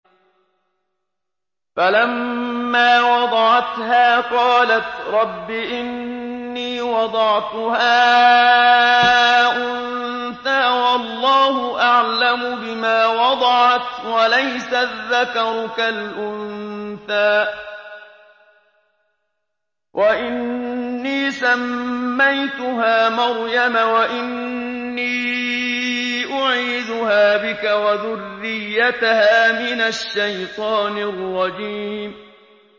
فَلَمَّا وَضَعَتْهَا قَالَتْ رَبِّ إِنِّي وَضَعْتُهَا أُنثَىٰ وَاللَّهُ أَعْلَمُ بِمَا وَضَعَتْ وَلَيْسَ الذَّكَرُ كَالْأُنثَىٰ ۖ وَإِنِّي سَمَّيْتُهَا مَرْيَمَ وَإِنِّي أُعِيذُهَا بِكَ وَذُرِّيَّتَهَا مِنَ الشَّيْطَانِ الرَّجِيمِ